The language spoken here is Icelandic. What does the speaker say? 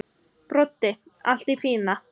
Broddi: Allt í fína.